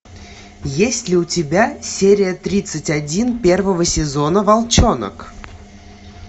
есть ли у тебя серия тридцать один первого сезона волчонок